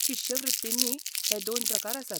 शिश्यवृत्तींनीय हे दोन प्रकारआसात.